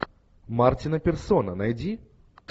мартина перссона найди